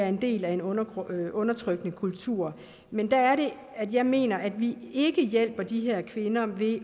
en del af en undertrykkende undertrykkende kultur men der er det at jeg mener at vi ikke hjælper de her kvinder ved